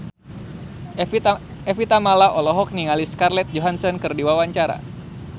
Evie Tamala olohok ningali Scarlett Johansson keur diwawancara